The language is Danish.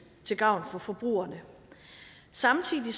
til gavn for forbrugerne samtidig